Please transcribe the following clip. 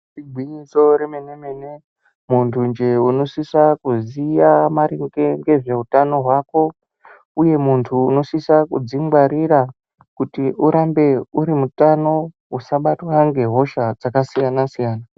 Igwinyiso remene-mene muntu jee unosisa kuziya maringe ngezveutano hwako, uye muntu unosisa kudzingwarira kuti urambe uri kutano usabatwa ngehosha dzakasiyana-siyana.